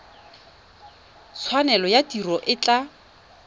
tshwanelo ya tiro e tla